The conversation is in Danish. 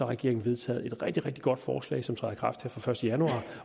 regeringen vedtaget et rigtig rigtig godt forslag som træder i kraft den første januar